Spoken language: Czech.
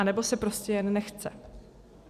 Nebo se prostě jen nechce.